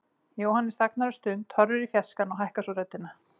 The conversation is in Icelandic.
Jóhannes þagnar um stund, horfir í fjarskann og hækkar svo röddina.